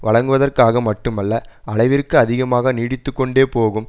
வழங்குவதற்காக மட்டுமல்ல அளவிற்கு அதிகமாக நீடித்து கொண்டே போகும்